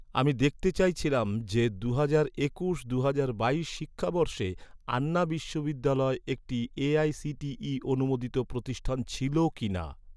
আমি দেখতে চাইছিলাম যে, দুহাজার একুশ দুহাজার বাইশ শিক্ষাবর্ষে আন্না বিশ্ববিদ্যালয়, একটি এ.আই.সি.টি.ই অনুমোদিত প্রতিষ্ঠান ছিল কিনা?